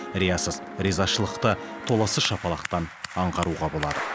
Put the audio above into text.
риясыз ризашылықты толассыз шапалақтан аңғаруға болады